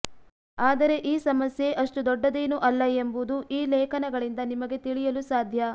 ಆದರೆ ಈ ಸಮಸ್ಯೆ ಅಷ್ಟು ದೊಡ್ಡದೇನೂ ಅಲ್ಲ ಎಂಬುದು ಈ ಲೇಖನಗಳಿಂದ ನಿಮಗೆ ತಿಳಿಯಲು ಸಾಧ್ಯ